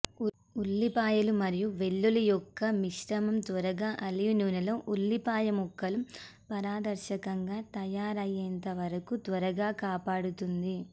ఉల్లిపాయలు మరియు వెల్లుల్లి యొక్క మిశ్రమం త్వరగా ఆలివ్ నూనెలో ఉల్లిపాయ ముక్కలు పారదర్శకంగా తయారయ్యేంత వరకు త్వరగా కాపాడుతుంది